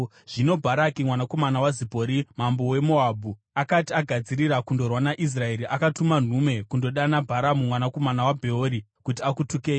Zvino Bharaki mwanakomana waZipori mambo weMoabhu, akati agadzirira kundorwa naIsraeri, akatuma nhume kundodana Bharamu mwanakomana waBheori kuti akutukei.